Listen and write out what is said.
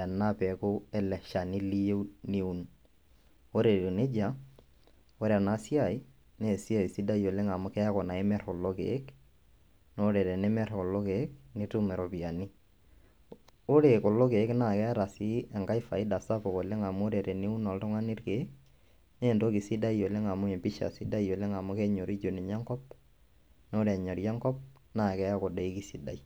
ena peku ele shani niyieu niun ore etiu nejia ore ena siai naa sidai oleng amu keeku naa imir kulo kiek naa ore tenimir kulo kiek nitum iropiyiani ore kulo kiek naa keeta sii enkai faida sapuk amu ore teniun oltung'ani irkiek naa entoki sidai oleng amu empisha sidai amu kenyoriju ninye enkop naa ore enyori enkop naa keeku doi keisidai.